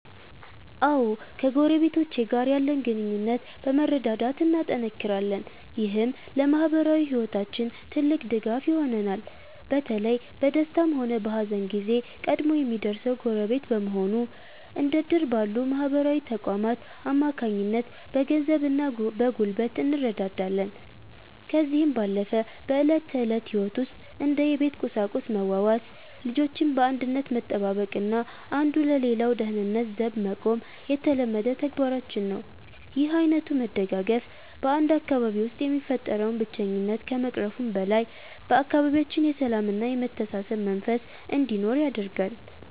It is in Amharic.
አዎ ከጎረቤቶቼ ጋር ያለን ግንኙነት በመረዳዳት እናጠናክራለን። ይህም ለማኅበራዊ ሕይወታችን ትልቅ ድጋፍ ይሆነናል። በተለይ በደስታም ሆነ በሐዘን ጊዜ ቀድሞ የሚደርሰው ጎረቤት በመሆኑ፤ እንደ ዕድር ባሉ ማኅበራዊ ተቋማት አማካኝነት በገንዘብና በጉልበት እንረዳዳለን። ከዚህም ባለፈ በዕለት ተዕለት ሕይወት ውስጥ እንደ የቤት ቁሳቁስ መዋዋስ፤ ልጆችን በአንድነት መጠባበቅና አንዱ ለሌላው ደህንነት ዘብ መቆም የተለመደ ተግባራችን ነው። ይህ ዓይነቱ መደጋገፍ በ 1 አካባቢ ውስጥ የሚፈጠረውን ብቸኝነት ከመቅረፉም በላይ፤ በአካባቢያችን የሰላምና የመተሳሰብ መንፈስ እንዲኖር ያደርጋል።